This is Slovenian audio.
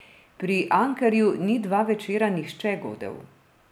Pri Ankerju ni dva večera nihče godel.